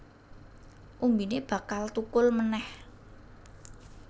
Umbine bakal thukul manèh